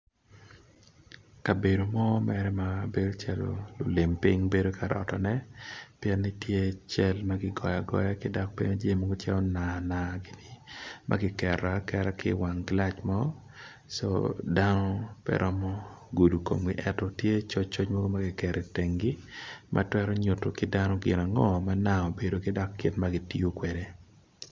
Kabedo mo mere mabedo calo lulim ping bedo karotone cal makigoyo agoya ki dok bene jami macalo nana gi makiketo aketa ki wang gilac mo so dano peromo gudo komgi ento tye coc coc mogo makiketo i tengi matwero nyuto ki dano gin ango ma nang obedo ki dok kit ma gitiyo kwede.